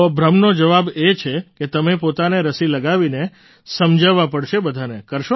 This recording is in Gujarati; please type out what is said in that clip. તો ભ્રમનો જવાબ એ છે કે તમે પોતાને રસી લગાવીને સમજાવવા પડશે બધાને